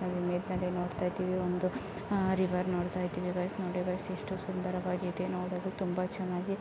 guys ನೀವು ನೋಡ್ತಾ ಇದ್ದೇವೆ ಒಂದು ಆ ರಿವರ್ ನೋಡ್ತಾ ಇದ್ದೇವೆ ಗೈಸ ನೋಡಿ ಗೈಸ ಎಷ್ಟು ಸುಂದರವಾಗಿದೆ ನೋಡಲು ತುಂಬಾ ಚೆನ್ನಾಗಿ